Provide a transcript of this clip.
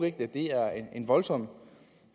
ikke at det er en voldsom